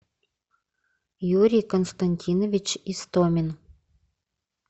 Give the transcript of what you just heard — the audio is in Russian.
юрий константинович истомин